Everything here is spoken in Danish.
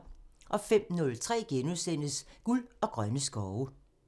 05:03: Guld og grønne skove *(tir)